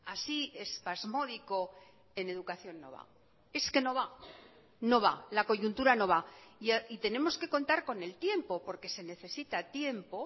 así espasmódico en educación no va es que no va no va la coyuntura no va y tenemos que contar con el tiempo porque se necesita tiempo